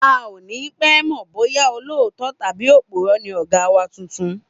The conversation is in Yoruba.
A ò ní pé̩ mò̩ bóyá olóòótó̩ tàbí òpùró̩ ni ò̩gá wa tuntun